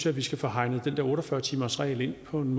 at vi skal få hegnet den der otte og fyrre timersregel ind på en